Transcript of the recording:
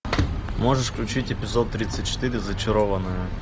можешь включить эпизод тридцать четыре зачарованные